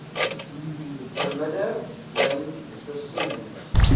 bemidde ling versoening